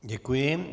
Děkuji.